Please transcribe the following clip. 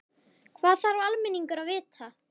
Hvað þarf almenningur að vita?